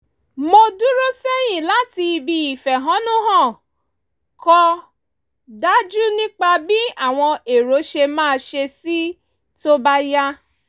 mo dúró sẹ́yìn láti ibi ìfẹ̀hónú-hàn kò dájú nípa bí àwọn èrò ṣe máa ṣe sí i tó bá yá